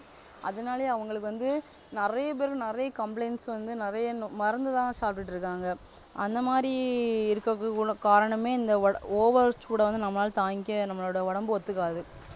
அதனாலேயே அவங்களுக்கு வந்து நிறைய பேருக்கு நிறைய complaints வந்து நிறைய மருந்துதான் சாப்பிட்டிட்டு இருக்காங்க அந்தமாதிரி இருக்குறதுக்கு உள்ள காரணமே இந்த over சூட வந்து நம்மளால தாங்கிக்கவே நம்மளோட உடம்பு ஒத்துக்காது